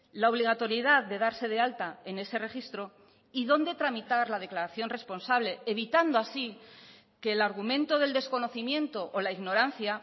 la obligatoriedad de darse de alta en ese registro y dónde tramitar la declaración responsable evitando así que el argumento del desconocimiento o la ignorancia